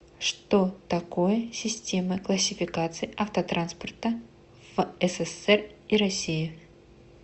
что такое системы классификации автотранспорта в ссср и россии